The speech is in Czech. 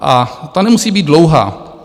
A ta nemusí být dlouhá.